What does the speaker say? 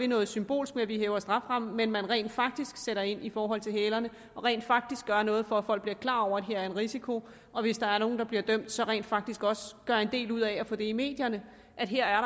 noget symbolsk med at vi hæver strafferammen men at man rent faktisk sætter ind i forhold til hælerne og rent faktisk gør noget for at folk bliver klar over at her er en risiko og hvis der er nogle der bliver dømt så rent faktisk også gør en del ud af at få i medierne at her er